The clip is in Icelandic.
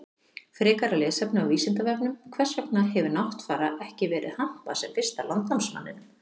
Frekara lesefni á Vísindavefnum: Hvers vegna hefur Náttfara ekki verið hampað sem fyrsta landnámsmanninum?